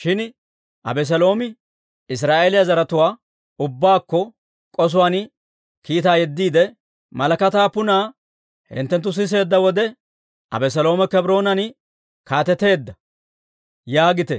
Shin Abeseeloomi Israa'eeliyaa zaratuwaa ubbaakko k'osuwaan kiitaa yeddiide, «Malakataa punna hinttenttu siseedda wode, ‹Abeseloomi Kebroonan kaateteedda› yaagite»